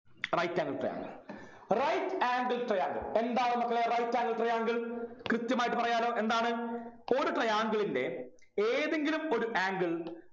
right angle triangle right angle triangle എന്താണ് മക്കളെ right angle triangle കൃത്യമായിട്ട് പറയാലോ എന്താണ് ഒരു triangle ൻ്റെ ഏതെങ്കിലും ഒരു angle